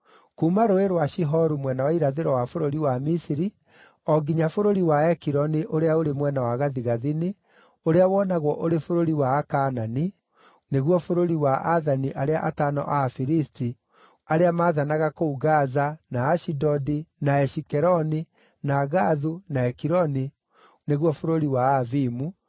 kuuma Rũũĩ rwa Shihoru mwena wa irathĩro wa bũrũri wa Misiri, o nginya bũrũri wa Ekironi ũrĩa ũrĩ mwena wa gathigathini, ũrĩa wonagwo ũrĩ bũrũri wa Akaanani (nĩguo bũrũri wa aathani arĩa atano a Afilisti arĩa maathanaga kũu Gaza, na Ashidodi, na Ashikeloni, na Gathu, na Ekironi, nĩguo bũrũri wa Aavimu);